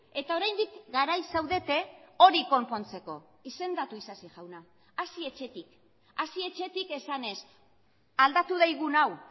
eta oraindik garai zaudete hori konpontzeko izendatu isasi jauna hasi etxetik hasi etxetik esanez aldatu daigun hau